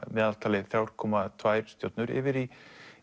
meðaltali þrjú komma tvær stjörnur yfir í